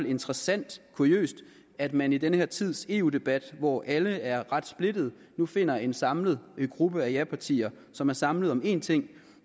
interessant kuriøst at man i den her tids eu debat hvor alle er ret splittede jo finder en samlet gruppe af japartier som er samlet om én ting